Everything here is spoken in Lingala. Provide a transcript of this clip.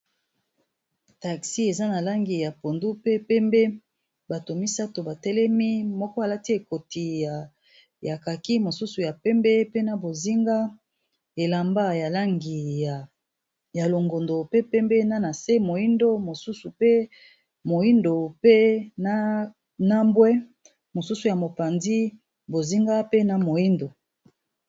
Taxi eza na langi ya pondu pe pembe bato misato batelemi moko alati ekoti ya kaki mosusu ya pembe, pena bozinga elamba langi ya longondo, pe pembe nanase moindo mosusu pe moindo, pe nambwe mosusu ya mopandi bozinga pe na moindo.